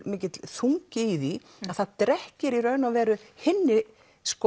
mikill þungi í því að það drekkir í raun og veru hinni